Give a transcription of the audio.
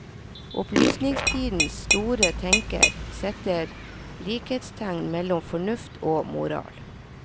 Opplysningstidens store tenker setter likhetstegn mellom fornuft og moral.